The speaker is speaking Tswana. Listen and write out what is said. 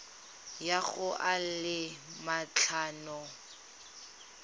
ya go a le matlhano